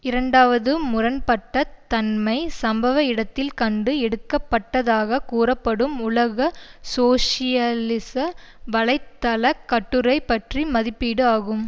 இரண்டாவது முரண் பட்ட தன்மை சம்பவ இடத்தில் கண்டு எடுக்கப்பட்டதாகக் கூறப்படும் உலக சோசியலிச வலை தள கட்டுரை பற்றிய மதிப்பீடு ஆகும்